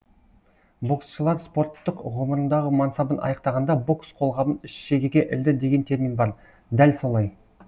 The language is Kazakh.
боксшылар спорттық ғұмырындағы мансабын аяқтағанда бокс қолғабын шегеге ілді деген термин бар дәл солай